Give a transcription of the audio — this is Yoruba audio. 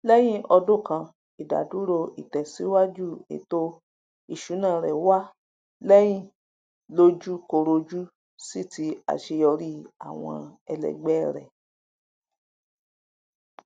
lèyìn ọdún kan idà dúró ìtèsíwájú ètò ìṣúná rẹ wa leyin lójú korojú sí ti àṣeyọrí àwọn ẹlẹgbẹ rẹ